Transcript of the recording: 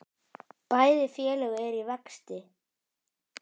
Bæði félög eru í vexti.